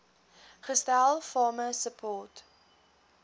gestel farmer support